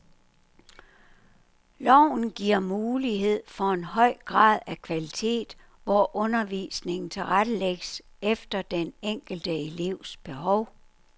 Loven giver mulighed for en høj grad af kvalitet, hvor undervisningen tilrettelægges efter den enkelte elevs behov.